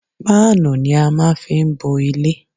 Páánù ni á má fí ń bo ilé.